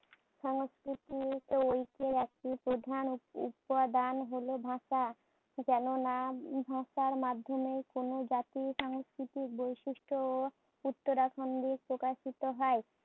সংস্কৃতিতে ঐক্যর একটি প্রধান উপ উপাদান হোল ভাষা। কেননা ভাষার মাধ্যেমে কোন জাতির সাংস্কৃতিক বৈশিষ্ট্য ও প্রকাশিত হয়।